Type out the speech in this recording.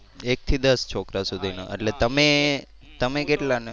એક થી દસ છોકરા સુધી નો એટલે તમે તમે કેટલા ને